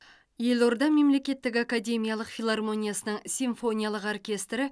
елорда мемлекеттік академиялық филармониясының симфониялық оркестрі